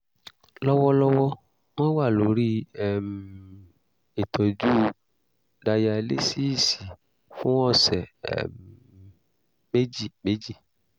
lọ́wọ́lọ́wọ́ wọ́n wà lórí um ìtọ́jú dayalísíìsì fún ọ̀sẹ̀ um méjì méjì